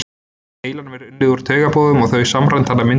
heilanum er unnið úr taugaboðum og þau samræmd þannig að myndin skynjast.